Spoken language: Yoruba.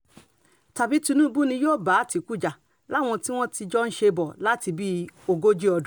tàbí tinúbù ni yóò bá àtìkù jà láwọn tí wọ́n ti jọ ń ṣe bọ̀ láti bíi ogójì ọdún